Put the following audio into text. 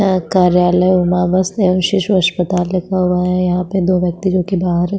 अ कार्यालय उमावश एवं शिशु अस्पताल लिखा हुआ है यहाँ पे दो व्यक्ति जो की बाहर--